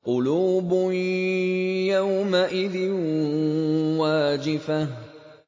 قُلُوبٌ يَوْمَئِذٍ وَاجِفَةٌ